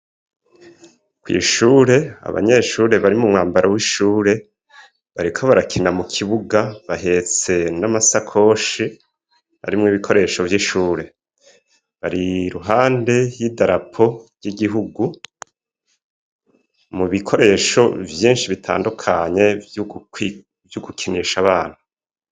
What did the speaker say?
Kw'shure, Abanyeshure bari mu mwambaro w'ishure, bariko barakina mu kibuga bahetse n'amasakoshi, ari mw'ibikoresho vy'ishure. Bari ruhande y'idarapo vy'igihugu mu bikoresho vyinshi bitandukanye vy'ugukinisha abana.